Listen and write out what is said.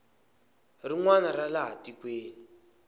rin wana ra laha tikweni